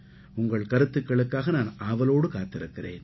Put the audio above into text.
உங்கள் கருத்துக்களுக்காக நான் ஆவலோடு காத்திருக்கிறேன்